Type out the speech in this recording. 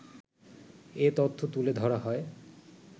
এ তথ্য তুলে ধরা হয়